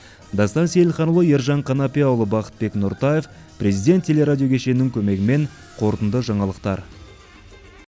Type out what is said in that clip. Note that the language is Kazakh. дастан сейілханұлы ержан қанапияұлы бақытбек нұртаев президент телерадиокешенінің көмегімен қорытынды жаңалықтар